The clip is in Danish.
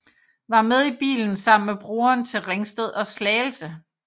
Var med i bilen sammen med broren til Ringsted og Slagelse